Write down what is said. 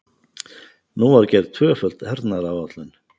Nú var gerð tvöföld hernaðaráætlun.